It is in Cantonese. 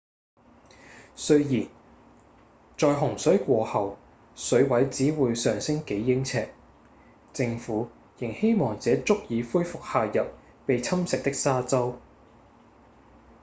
雖然在洪水過後水位只會上升幾英尺政府仍希望這足以恢復下游被侵蝕的沙洲